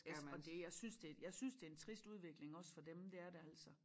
Yes og det jeg synes det jeg synes det en trist udvikling også for dem det er det altså